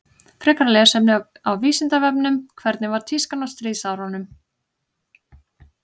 Frekara lesefni á Vísindavefnum Hvernig var tískan á stríðsárunum?